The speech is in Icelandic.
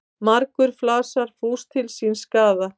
Margur flasar fús til síns skaða.